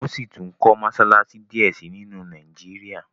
wón síi tún kò Mossalassi diẹ sí nínu Nàìjíríà